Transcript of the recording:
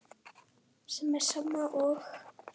sem er sama og